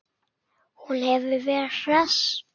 Hún hefur verið hress?